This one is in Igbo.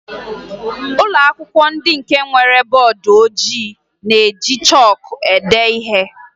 Ụlọakwụkwọ ndị nke nwere bọọdụ ndị ojii na-eji chọọkụ ede ihe